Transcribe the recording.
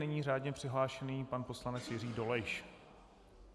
Nyní řádně přihlášený pan poslanec Jiří Dolejš.